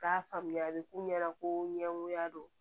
K'a faamuya a bɛ k'u ɲɛna ko ɲɛgoya don